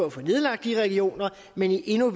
at få nedlagt de regioner men i endnu